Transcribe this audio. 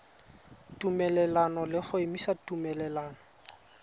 tumelelano le go emisa tumelelano